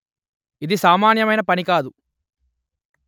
ఇది సామాన్యమైన పని కాదు